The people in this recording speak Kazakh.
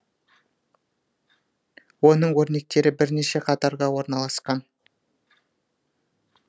оның өрнектері бірнеше қатарға орналасқан